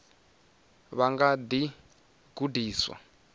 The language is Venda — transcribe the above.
vha nga kha ḓi gudiswa